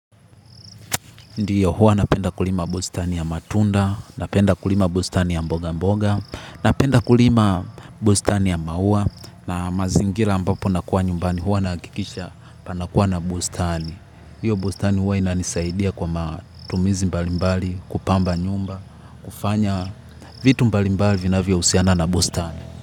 Ndiyo huwa napenda kulima bustani ya matunda, napenda kulima bustani ya mboga mboga, napenda kulima bustani ya maua na mazingira ambapo nakua nyumbani huwa nakikisha panakua na bustani. Hiyo bustani huwa inanisaidia kwa matumizi mbalimbali, kupamba nyumba, kufanya vitu mbalimbali vina vya uhusiana na bustani.